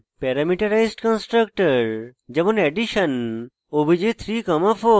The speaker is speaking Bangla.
প্যারামিটারাজড constructor যেমন: addition obj 34